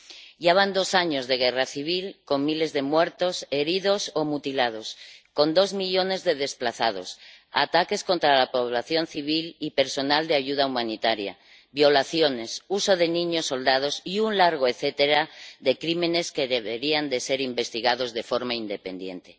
Ya van dos años de guerra civil con miles de muertos, heridos o mutilados, con dos millones de desplazados, ataques contra la población civil y personal de ayuda humanitaria, violaciones, uso de niños soldados y un largo etcétera de crímenes que deberían ser investigados de forma independiente.